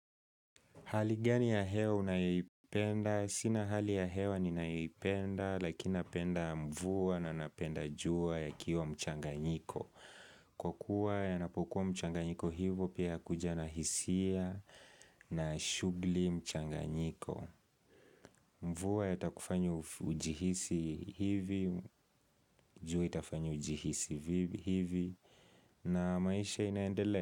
Hali gani ya hewa unayoipenda? Sina hali ya hewa ninayoipenda, lakini napenda mvua na napenda jua yakiwa mchanganyiko. Kwa kua napokuwa mchanganyiko hivo pia kuja na hisia na shughuli mchanganyiko. Mvua yatakufanya ujihisi hivi, jua itafanya ujihisi hivi, na maisha inaendelea.